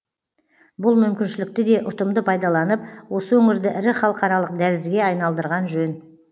бұл мүмкіншілікті де ұтымды пайдаланып осы өңірді ірі халықаралық дәлізге айналдырған жөн